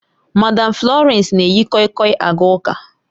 Madam Florence na-eyi koi koi aga ụka